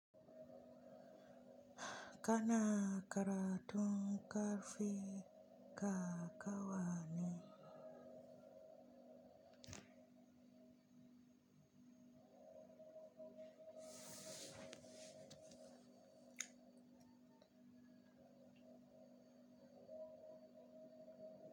Kana karatun ka fi ka kawane.